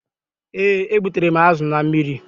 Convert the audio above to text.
Ee, e gbutere m azu na mmiri